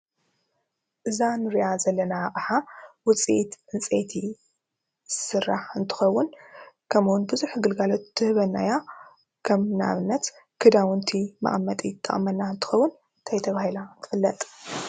እዛ ንሪኣ ዘለና ኣቕሓ ውፂኢት ዕንጨቲ ስራሕ እንትኸውን ከምኡ እውን ብዙሕ ግልጋሎት ትህበና እያ ከም ንኣብነት ክዳውንቲ መቕመጢ ትጠቕመና እንትኸዉን እንታይ ተባሂላ ትፍለጥ?